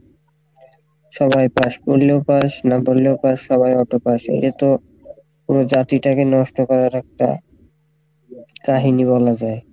সবাই pass পড়লেও pass না পড়লেও pass সবাই auto pass এটাতো পুরো জাতি টাকে নষ্ট করার একটা কাহিনী বলা যাই,